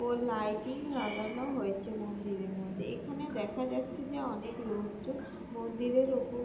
ও lighting লাগানো হয়েছে মন্দিরে মধ্যে এখানে দেখা যাচ্ছে যে অনেক লোকজন মন্দিরের ওপর--